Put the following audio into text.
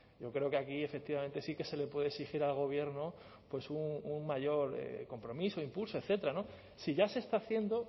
yo creo que aquí efectivamente sí que se le puede exigir al gobierno un mayor compromiso impulso etcétera si ya se está haciendo